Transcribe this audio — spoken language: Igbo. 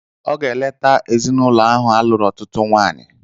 Ọ ga-eleta ezinụlọ ahụ a lụrụ ọtụtụ nwaanyị.